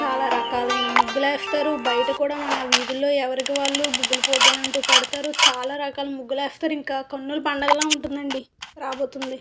చాలా రకాలైన ముగ్గులేస్తారు బయట కూడా మన వీదుల్లో ఎవరికి వాళ్ళు ముగ్గుల పోటిలంటూ పెడతారు చాలా రకాల ముగ్గులేస్తారు ఇంకా కన్నుల పండగల ఉంటుందండి రాబోతుంది.